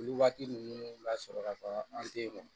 Olu waati ninnu lasɔrɔla an tɛ ye nɔ